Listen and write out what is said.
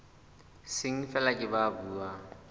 seng feela ke ba buang